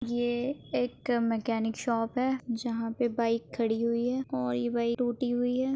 ये एक mechanic shop है जहाँ पर बाइक खड़ी हुई है और ये बाइक टूटी हुई है।